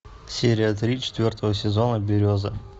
серия три четвертого сезона береза